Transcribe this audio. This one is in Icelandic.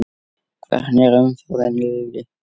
Hvernig er umferðin Lillý?